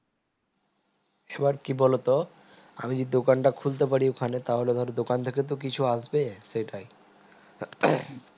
এবার কি বলতো আমি যে দোকানটা খুলতে পারি ওখানে তাহলে ধর দোকান থেকে কিছু আসবে সেটাই